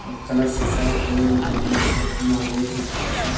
कलर्स असा वयर बिल्डिंग असा बिल्डिंगा वयर प्रिंटिंग आसा.